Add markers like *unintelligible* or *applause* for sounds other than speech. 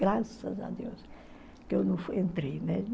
Graças a Deus que eu *unintelligible* entrei.